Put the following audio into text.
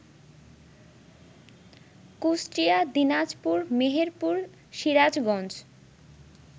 Kushtia, Dinajpur, Meherpur, Sirajganj